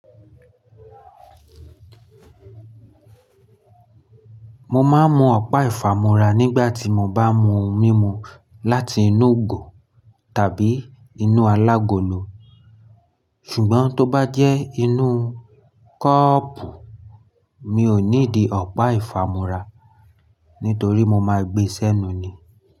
Mo máa ń mu ọ̀pá ìfámúra nígbà tí mo bá mu mímu láti inú gọ̀ tàbí inú alágolo. Ṣùgbọ́n tó bá jẹ́ inú kọ́ọ́pù, mi ò ní dì ọ̀pá ìfámúra, nítorí mo máa gbé sẹ́nu ni.